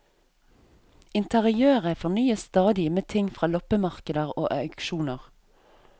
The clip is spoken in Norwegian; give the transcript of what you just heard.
Interiøret fornyes stadig med ting fra loppemarkeder og auksjoner.